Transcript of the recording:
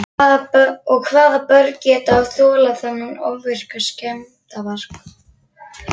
Og hvaða börn geta þolað þennan ofvirka skemmdarvarg?